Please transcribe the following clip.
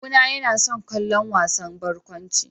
Kawuna yana son kallon wasan barkwanci.